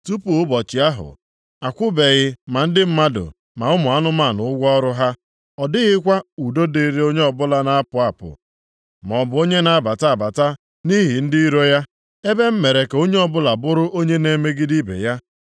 Tupu ụbọchị ahụ, akwụbeghị ma ndị mmadụ ma ụmụ anụmanụ ụgwọ ọrụ ha. Ọ dịghịkwa udo dịrị onye ọbụla na-apụ apụ maọbụ onye na-abata abata nʼihi ndị iro ya, ebe m mere ka onye ọbụla bụrụ onye na-emegide ibe ya.